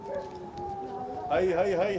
Hey, hey, hey, hey, hey!